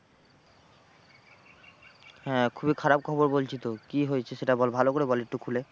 হ্যাঁ খুবই খারাপ খবর বলছিস তো কি হয়েছে সেটা বল ভালো করে বল একটু খুলে।